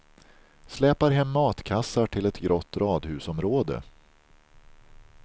Släpar hem matkassar till ett grått radhusområde.